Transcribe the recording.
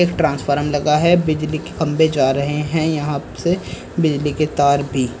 transform लगा है बिजली की खंभे जा रहे हैं यहां से बिजली के तार भी--